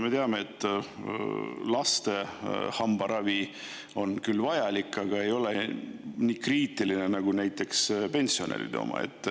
Me teame, et laste hambaravi on küll vajalik, aga ei ole nii kriitiline nagu näiteks pensionäride oma.